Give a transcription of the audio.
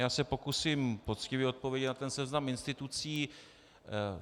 Já se pokusím poctivě odpovědět na ten seznam institucí.